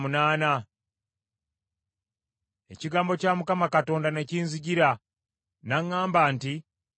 Ekigambo kya Mukama Katonda ne kinzijira, n’aŋŋamba nti,